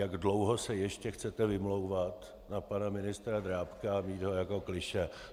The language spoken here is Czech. Jak dlouho se ještě chcete vymlouvat na pana ministra Drábka a mít ho jako klišé?